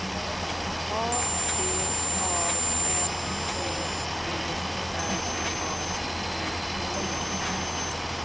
A V A N C E R A D E